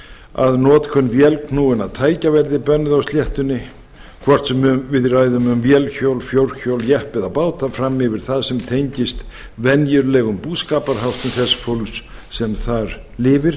að notkun vélknúinna tækja verði bönnuð á sléttunni hvort sem við ræðum um vélhjól fjórhjól jeppa eða báta fram yfir það sem tengist venjulegum búskaparháttum þess fólks sem þar lifir